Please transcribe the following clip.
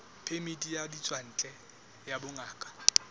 phemiti ya ditswantle ya bongaka